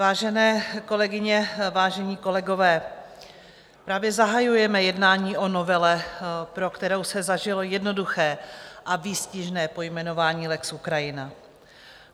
Vážené kolegyně, vážení kolegové, právě zahajujeme jednání o novele, pro kterou se vžilo jednoduché a výstižné pojmenování lex Ukrajina.